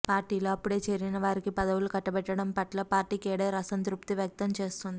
పార్టీలో అప్పుడే చేరిన వారికి పదవులు కట్టబెట్టడం పట్ల పార్టీ కేడర్ అసంతృప్తి వ్యక్తం చేస్తోంది